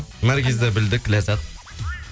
наргизді білдік ләззат